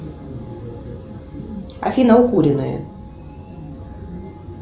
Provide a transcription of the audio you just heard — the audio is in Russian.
афина укуренные